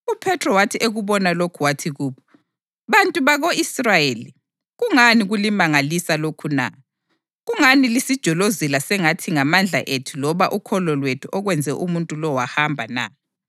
UPhethro wathi ekubona lokhu wathi kubo, “Bantu bako-Israyeli, kungani kulimangalisa lokhu na? Kungani lisijolozela sengathi ngamandla ethu loba ukholo lwethu okwenze umuntu lo wahamba na?